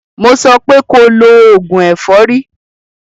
Mo sọ pé ko lo oògùn ẹ̀fọ́rí!